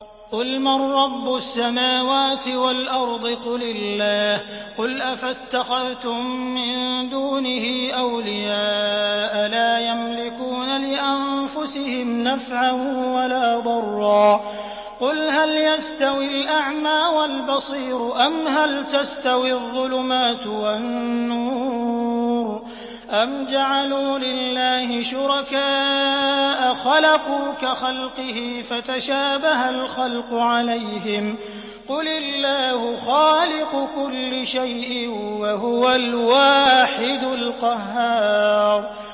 قُلْ مَن رَّبُّ السَّمَاوَاتِ وَالْأَرْضِ قُلِ اللَّهُ ۚ قُلْ أَفَاتَّخَذْتُم مِّن دُونِهِ أَوْلِيَاءَ لَا يَمْلِكُونَ لِأَنفُسِهِمْ نَفْعًا وَلَا ضَرًّا ۚ قُلْ هَلْ يَسْتَوِي الْأَعْمَىٰ وَالْبَصِيرُ أَمْ هَلْ تَسْتَوِي الظُّلُمَاتُ وَالنُّورُ ۗ أَمْ جَعَلُوا لِلَّهِ شُرَكَاءَ خَلَقُوا كَخَلْقِهِ فَتَشَابَهَ الْخَلْقُ عَلَيْهِمْ ۚ قُلِ اللَّهُ خَالِقُ كُلِّ شَيْءٍ وَهُوَ الْوَاحِدُ الْقَهَّارُ